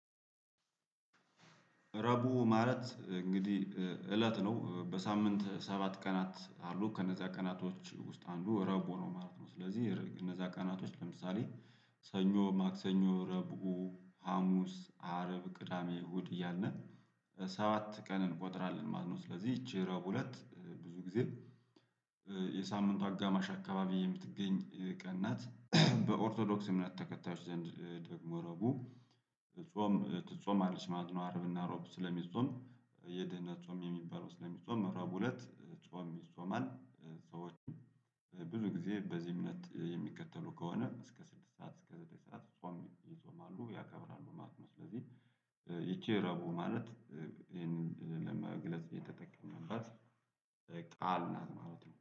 ረቡ ማለት እንግዲህ እለት ነው በሳምንት ሰባት ቀናት አሉ ከነዛ ቀናቶች ውስጥ አንዱ ረቡ ነው ማለት ነው። ስለዚህ እነዛ ቀናቶች ለምሳሌ ሰኞ ማክሰኞ ረቡኡ ሀሙስ አርብ ቅዳሜ እሁድ እያልን ሰዓት ቀን እንቆጥራለን ማለት ነው። ስለዚህ ይቺ ረቡ ሁለት ብዙ ጊዜ የሳምንቱ አጋማሽ አካባቢ የምትገኝ ቀን ናት። በኦርቶዶክስ እምነት ተከታዮች ዘንድ ደግሞ ረጉ ጾም ትጾማለች ማለት ነው። አርብና አሮብ ስለሚጾም የድህነት ጾም የሚባለው ስለሚጾም አልብ ሁለት ጾም ይጾማል። ሰዎች ብዙ ጊዜ በዚህ እምነት የሚከተሉ ከሆነ እስከ ስድስት ሰዓት እስከ ዘጠኝ ሰዓት ጾም ይጾማሉ ያከብራሉ ማለት ነው። ስለዚህ ይቺ ረቡ ማለት ይሄንን ለመግለጽ የተጠቀመባት ቃል ናት ማለት ነው